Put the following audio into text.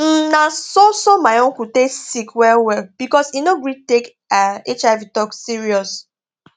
um na so so my uncle take sick well well because he no gree take um hiv talk serious